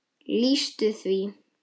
lýstu því?